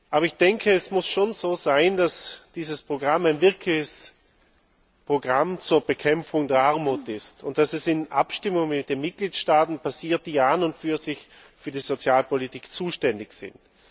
Aber es muss schon so sein, dass dieses Programm ein wirkliches Programm zur Bekämpfung der Armut ist und dass es in Abstimmung mit den Mitgliedstaaten durchgeführt wird, die ja an und für sich für die Sozialpolitik zuständig sind.